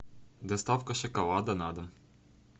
доставка шоколада на дом